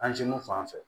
fan fɛ